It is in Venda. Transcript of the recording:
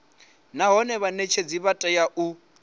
nahone vhanetshedzi vha tea u